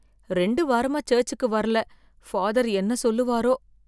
ரெண்டு வாரமா சர்ச்சுக்கு வர்ரல ஃபாதர் என்ன சொல்லுவாரோ!